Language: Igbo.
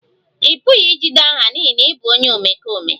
Ị pụghị ijide aha n'ihi na ị bụ onye omekome